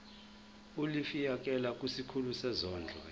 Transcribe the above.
ulifiakela kwisikulu sezondlo